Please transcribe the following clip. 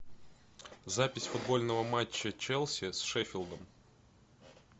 запись футбольного матча челси с шеффилдом